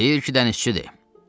Deyir ki, dənizçidir.